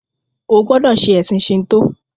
O gbódò ṣe ẹsìn Shinto!